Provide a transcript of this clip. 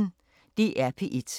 DR P1